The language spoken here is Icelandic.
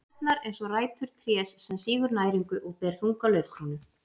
Tærnar eins og rætur trés sem sýgur næringu og ber þunga laufkrónu.